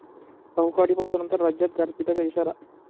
अवकाळी पावसानंतर राज्यात गारपिटीचा इशारा